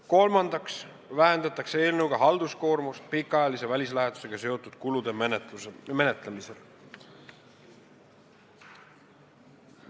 Kolmandaks, eelnõuga vähendatakse halduskoormust pikaajalise välislähetusega seotud kulude menetlemisel.